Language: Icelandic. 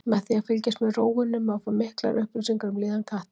Með því að fylgjast með rófunni má fá miklar upplýsingar um líðan katta.